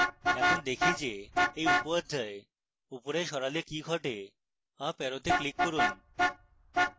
এখন দেখি যে এই উপঅধ্যায় উপরে সরালে কি ঘটে